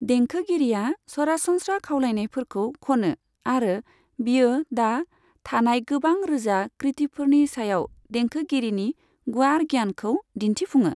देंखोगिरिया सरासनस्रा खावलायनायफोरखौ खनो, आरो बियो दा थानाय गोबां रोजा कृतिफोरनि सायाव देंखोगिरिनि गुवार गियानखौ दिन्थिफुङो।